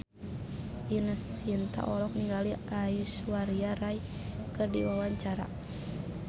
Ine Shintya olohok ningali Aishwarya Rai keur diwawancara